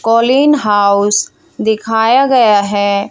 Colin house दिखाया गया है।